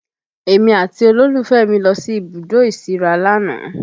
Èmi àti olólùfẹ́ mi lọ sí ibùdó ìsíra lánàá